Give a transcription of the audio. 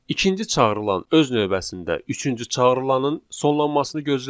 İkinci çağırılan öz növbəsində üçüncü çağırılaının sonlanmasını gözləyir.